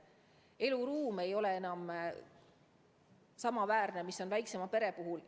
Vajalik eluruum ei ole enam samaväärne kui väiksema pere puhul.